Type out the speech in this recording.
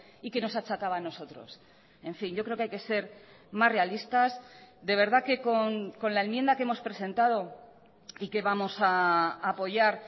y que nos achacaba a nosotros en fin yo creo que hay que ser más realistas de verdad que con la enmienda que hemos presentado y que vamos a apoyar